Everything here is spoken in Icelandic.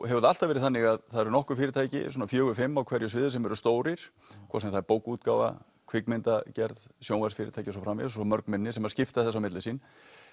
hefur það alltaf verið þannig að það eru nokkur fyrirtæki svona fjórir til fimm á hverju sviði sem eru stórir hvort sem það er bókaútgáfa kvikmyndagerð sjónvarpsfyrirtæki og svo framvegis og svo mörg minni sem skipta þessu á milli sín